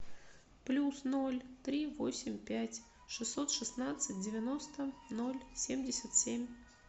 плюс ноль три восемь пять шестьсот шестнадцать девяносто ноль семьдесят семь